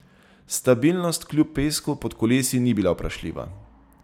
Stabilnost kljub pesku pod kolesi ni bila vprašljiva.